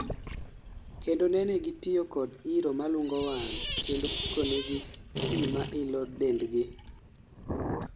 kendo nene gitiyo kod iro malungo wang' kendo puko nigi pi ma ilo dendgi